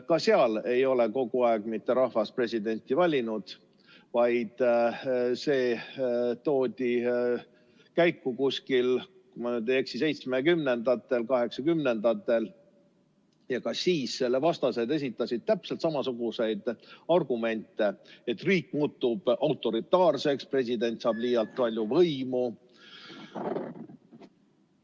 Ka seal ei ole kogu aeg rahvas presidenti valinud, vaid see hakkas nii olema, kui ma ei eksi, 1970–1980-ndatel ja ka siis esitasid selle vastased täpselt samasuguseid argumente, et riik muutub autoritaarseks, president saab liialt palju võimu.